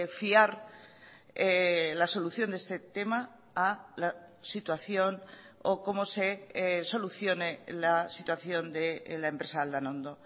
fiar la solución de este tema a la situación o como se solucione la situación de la empresa aldanondo